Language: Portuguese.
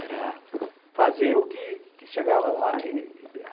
Era fazer o que... que chegava lá.